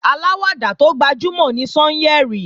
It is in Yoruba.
Aláwàdà tó gbajúmò ni Sányẹ̀rì